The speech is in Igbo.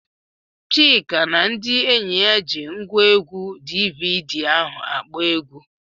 Chika na ndị enyi ya ji ngwaegwu DVD ahụ akpọ egwu.